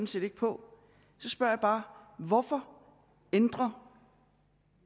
set ikke på så spørger jeg bare hvorfor ændrer